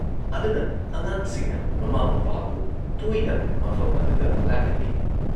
ꯑꯗꯨꯅ ꯑꯉꯥꯡꯁꯤꯡꯅ ꯃꯃꯥ ꯃꯄꯥꯕꯨ ꯇꯣꯏꯅ ꯃꯐꯝ ꯑꯗꯨꯗ ꯂꯥꯛꯍꯜꯂꯤ ꯫